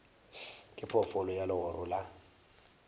ke phoofolo ya legoro la